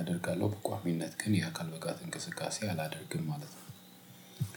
አደርጋለሁ በቋሚነት ግን የአካል ብቃት እንቅስቃሴ አላደርግም ማለት ነው።